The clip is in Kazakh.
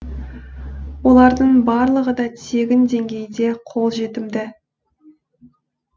олардың барлығы да тегін деңгейде қолжетімді